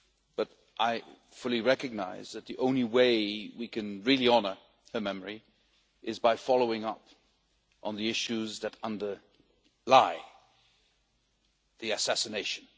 But I fully recognise that the only way we can really honour her memory is by following up on the issues that underlie the assassination.